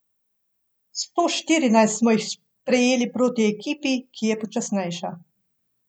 Sto štirinajst smo jih prejeli proti ekipi, ki je počasnejša.